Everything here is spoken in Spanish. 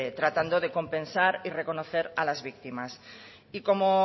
tratando de compensar y reconocer a las víctimas y como